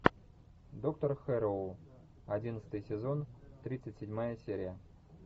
доктор хэрроу одиннадцатый сезон тридцать седьмая серия